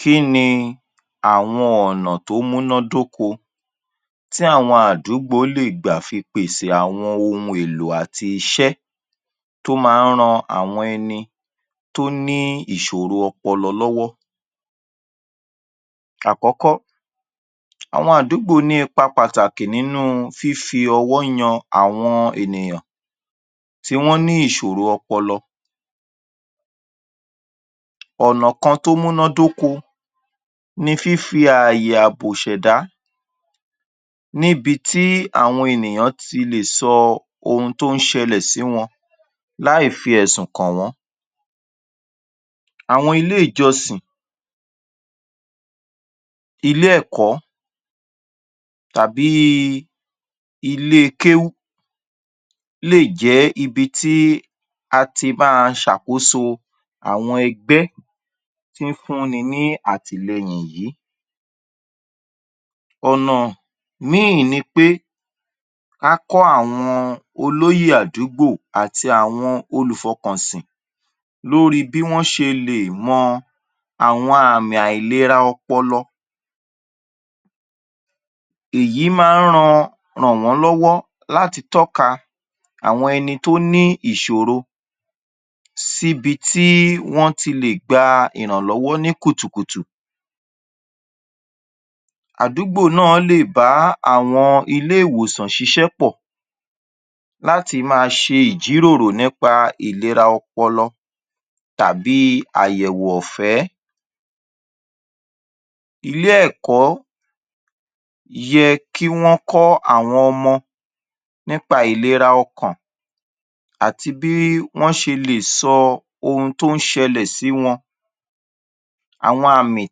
Kíni àwọn ọ̀nà tó múná dóko tí àwọn àdúgbò lè gbà fi pèsè àwọn ohun èlò àti iṣé tó ma ń ran àwọn ẹni tó ní ìsòro ọpọlọ lọ́wọ́. Àkókó, àwọn àdúgbò ní ipa pàtàkì nínú fífi ọwọ́ yan àwọn ènìyàn tí wọ́n ní ìsòro ọpọlọ, ọ̀nà kan tó múná dóko ni fífi àyè àbò ìṣẹ̀dá níbití àwọn ènìyàn ti lè sọ ohun tó ń ṣẹlẹ̀ sí wọn, láì fi ẹ̀sùn kàn wọ́n. Àwọn ilé ìjọsìn, ilé ẹ̀kọ́ tàbí i, ilé kéhún lè jẹ́ ibi tí a ti má a ṣàkóso àwọn ẹgbé tí ń fún ni àtìlẹ́yìn yìí. Ònà míì ni pé, ká kọ́ àwọn olóyè adúgbò àti àwọn olù fọkànsìn lórí bí wọ́n ṣe lè mọ àwọn àmìn àìlera ọpọlọ, èyí ma ń ran, ràn wọ́n lè láti tọ́ka àwọn ẹni tó ní ìsòro sí bití wọ́n a ti gba ìrànlọ́wọ́ ní kùtùkùtù, àdúgbò náà lè bá àwọn ilé ìwòsàn ṣiṣẹ́ pọ̀ láti má a ṣe ìjíròrò ní pa ìlera ọpọlọ tàbí i àyẹ̀wò ọ̀fẹ́. Ilé ẹ̀kọ́ yẹ kí wọ́n kọ́ àwọn ọmọ ní pa ìlera ọkàn, àti bí wọ́n ṣe lè sọ ohun tó ń ṣẹlẹ̀ sí wọn, àwọn àmìn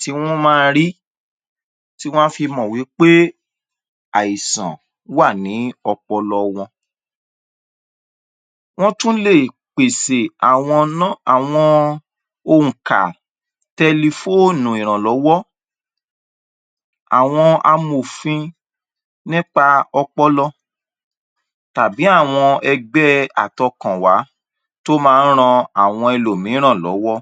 tí wọ́n ma rí, tí wọ́n á fi mọ̀ wí pé àìsàn wà ní ọpọlọ wọn. Wọn tún lè pèsè àwọn nọ́, àwọn òǹkà, tẹlifóònù ìrànlọ́wọ́, àwọn amòfin ní pa ọpọlọ tàbí àwọn ẹgbẹ́ àtọkànwá tó ma ń ran àwọn ẹlò míràn lọ́wọ́.